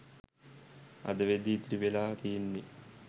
අද වෙද්දී ඉතිරිවෙලා තියෙන්නේ.